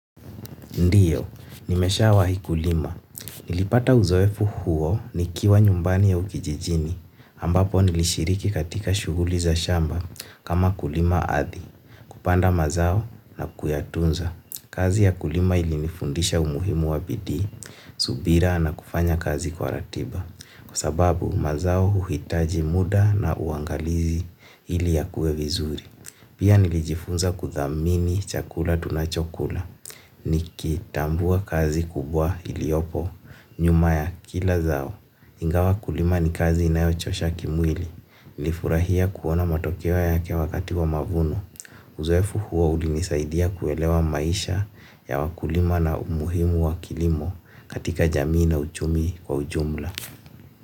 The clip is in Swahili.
Ndiyo, nimeshawahi kulima. Nilipata uzoefu huo nikiwa nyumbani au kijijini, ambapo nilishiriki katika shughuli za shamba kama kulima ardhi, kupanda mazao na kuyatunza. Kazi ya kulima ilinifundisha umuhimu wa bidii, subira na kufanya kazi kwa ratiba, kwa sababu mazao huhitaji muda na uangalizi ili yakue vizuri. Pia nilijifunza kuthamini chakula tunachokula, nikitambua kazi kubwa iliyopo nyuma ya kila zao. Ingawa kulima ni kazi inayochosha kimwili, nilifurahia kuona matokeo yake wakati wa mavuno. Uzoefu huo ulinisaidia kuelewa maisha ya wakulima na umuhimu wa kilimo katika jamii na uchumi kwa ujumla.